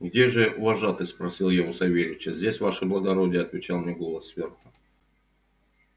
где же вожатый спросил я у савельича здесь ваше благородие отвечал мне голос сверху